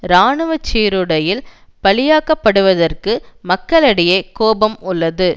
இராணுவ சீருடையில் பலியாக்கப்படுவதற்கு மக்களிடையே கோபம் உள்ளது